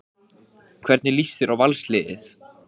Hvernig lýst þér á Valsliðið?